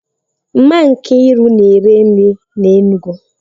Mama Nkiru na-ere nri n'Enugwu